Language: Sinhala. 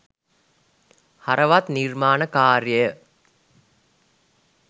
හරවත් නිර්මාණ කාර්යය